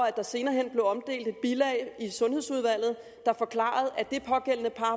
at der senere hen blev omdelt et bilag i sundhedsudvalget der forklarede at det pågældende par